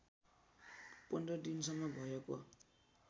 १५ दिनसम्म भएको